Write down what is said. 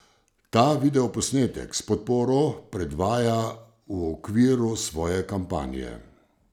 Ta video posnetek s podporo predvaja v okviru svoje kampanje.